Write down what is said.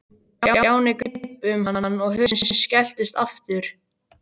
Stjáni greip um hann og hurðin skelltist aftur.